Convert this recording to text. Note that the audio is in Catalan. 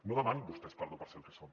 no demanin vostès perdó per ser el que són